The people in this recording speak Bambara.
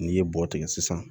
N'i ye bɔgɔ tigɛ sisan